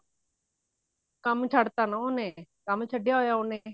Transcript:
ਕੰਮ ਛੱਡਤਾ ਤਾਂ ਉਹਨੇ ਕੰਮ ਛੱਡਿਆ ਹੋਇਆ ਉਹਨੇ